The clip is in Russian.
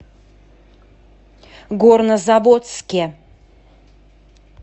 горнозаводске